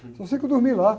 Só sei que eu dormi lá.